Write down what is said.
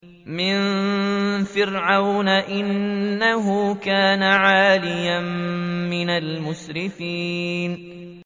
مِن فِرْعَوْنَ ۚ إِنَّهُ كَانَ عَالِيًا مِّنَ الْمُسْرِفِينَ